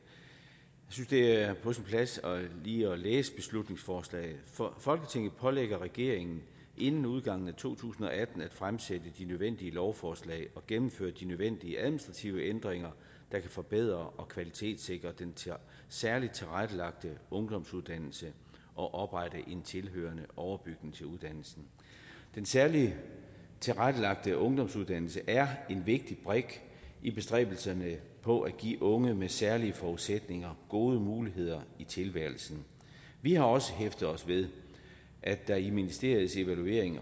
synes det er på sin plads lige at læse beslutningsforslaget folketinget pålægger regeringen inden udgangen af to tusind og atten at fremsætte de nødvendige lovforslag og gennemføre de nødvendige administrative ændringer der kan forbedre og kvalitetssikre den særligt tilrettelagte ungdomsuddannelse og oprette en tilhørende overbygning til uddannelsen den særligt tilrettelagte ungdomsuddannelse er en vigtig brik i bestræbelserne på at give unge med særlige forudsætninger gode muligheder i tilværelsen vi har også hæftet os ved at der i ministeriets evaluering